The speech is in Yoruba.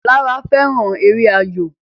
Lara fẹràn èrè ayọ.